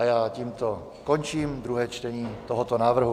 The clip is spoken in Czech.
A já tímto končím druhé čtení tohoto návrhu.